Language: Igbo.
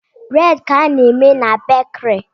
Buredi ka e ji na-eme na bakiri